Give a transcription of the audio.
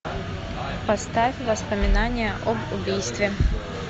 поставь воспоминания об убийстве